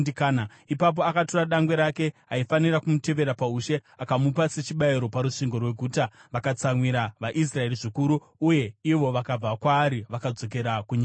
Ipapo akatora dangwe rake, aifanira kumutevera paushe, akamupa sechibayiro parusvingo rweguta. Vakatsamwira vaIsraeri zvikuru; uye ivo vakabva kwaari vakadzokera kunyika yavo.